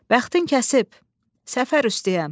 Bəxtin kəsib səfər üstəyəm.